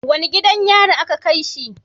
Wani gidan yari a ka kaishi?